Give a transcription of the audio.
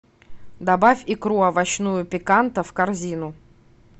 добавь икру овощную пиканта в корзину